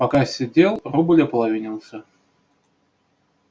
пока сидел рубль ополовинился